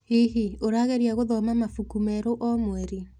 Hihi, ũrageria gũthoma mabuku merũ o mweri?